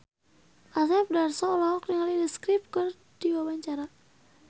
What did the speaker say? Asep Darso olohok ningali The Script keur diwawancara